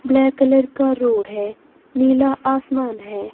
Black colour का रोड है नीला आसमान है।